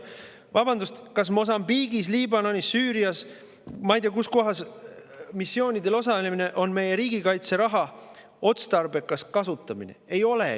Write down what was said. Vabandust, kas Mosambiigis, Liibanonis, Süürias või ei tea kus kohas missioonidel osalemine on meie riigikaitseraha otstarbekas kasutamine?